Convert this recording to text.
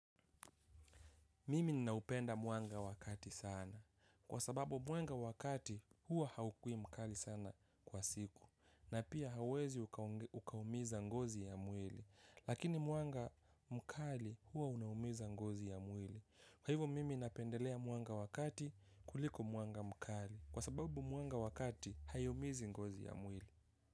Mimi ninaupenda muanga wakati sana. Kwa sababu mwanga wakati huwa haukui mkali sana kwa siku. Na pia hawezi ukaumiza ngozi ya mwili. Lakini mwanga mkali huwa unaumiza ngozi ya mwili. Kwa hivo mimi napendelea mwanga wa kati kuliko mwanga mkali. Kwa sababu mwanga wa kati hai umizi ngozi ya mwili.